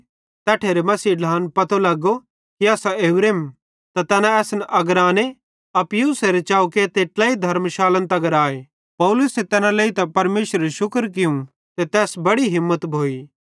तैट्ठेरे मसीही ढ्लान पतो लगो कि असां ओरेम त तैना असन अगराने अप्पियुसेरे चौके ते ट्लेई धर्मशालन तगर आए पौलुसे तैना लेइतां परमेशरेरू शुक्र कियूं ते तैस बड़ी हिम्मत भोइ